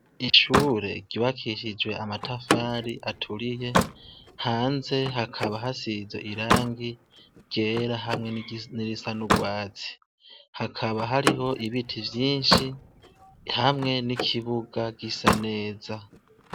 Ishure ryubakishije amatafari aturiye ,hanze hakaba hasize irangi ryera ,hamwe n'irisa n'urwatsi, hakaba hariho ibiti vyinshi hamwe n'ikibuga gisa neza.